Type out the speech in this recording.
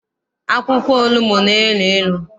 Akwụkwọ onugbu na- elu ilu.